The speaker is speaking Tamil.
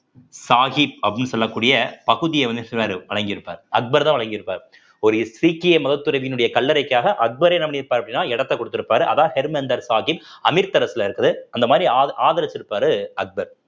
சாஹிப் அப்படின்னு சொல்லக்கூடிய பகுதிய வந்து வழங்கியிருப்பார் அக்பர்தான் வழங்கியிருப்பார் ஒரு சீக்கிய மதத்துறவியினுடைய கல்லறைக்காக அக்பரே என்ன பண்ணிருப்பார் அப்படின்னா இடத்த கொடுத்திருப்பாரு அதான் ஹெர்மிந்தர் சாஹிப் அமிர்தசரஸ்ல இருக்குது அந்த மாதிரி ஆ~ ஆதரிச்சிருப்பாரு அக்பர்